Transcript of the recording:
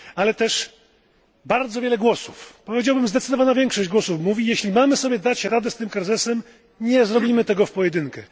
Ale też bardzo wiele głosów powiedziałbym zdecydowana większość mówi, że jeśli mamy sobie dać radę z tym kryzysem, nie zrobimy tego w pojedynkę.